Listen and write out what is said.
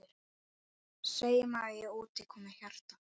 Segjum að út komi hjarta.